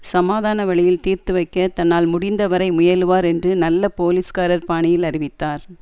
சமாதான வழியில் தீர்த்துவைக்க தன்னால் முடிந்தவரை முயலுவார் என்று நல்ல போலீஸ்காரர் பாணியில் அறிவித்தார்